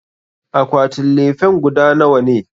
Akwatin lefen guda nawa ne?